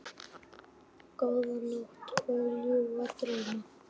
Góða nótt og ljúfa drauma.